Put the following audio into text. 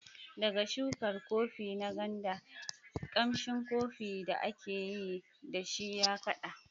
Daga shukar Kofi na Nganda, ƙamshin kofi da aka yi da shi ya kaɗa.